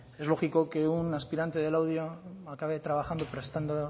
es lógico que un aspirante de laudio acabe trabajando prestando